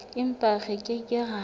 empa re ke ke ra